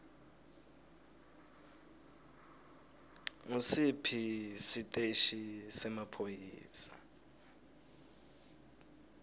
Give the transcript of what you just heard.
ngusiphi siteshi semaphoyisa